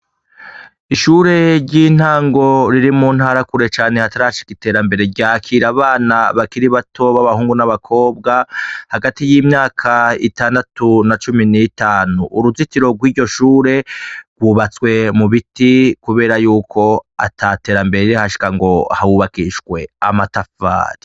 Ishure ry'intango riri muntara kure cane hatarashika iterambere, ryakira abana bakiri bato babahungu n'abakobwa, hagati y'imyaka itandatu na cumi n'itanu. Uruzitiro rwiryo shure rwubatswe mubiti kubera yuko ataterambere rirahashika ngo hubakishwe amatafari.